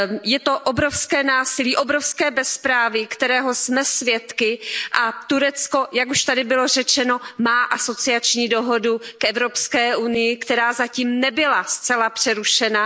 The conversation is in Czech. Je to obrovské násilí, obrovské bezpráví, kterého jsme svědky, a Turecko, jak zde již bylo řečeno, má asociační dohodu s EU, která zatím nebyla zcela přerušena.